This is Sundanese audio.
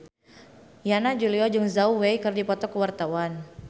Yana Julio jeung Zhao Wei keur dipoto ku wartawan